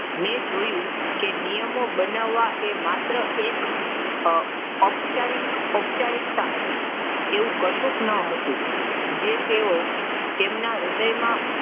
મેં જોયું કે નિયમો બનાવવા એ માત્ર એક આહ ઔપચારિકતા હતી. તેવું કશું ન હતું જે તેઓ તેમના હૃદયમાં,